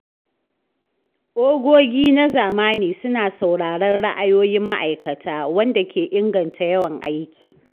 Ogogi na zamani suna sauraron ra’ayoyin ma’aikata, wanda ke inganta yawan aiki.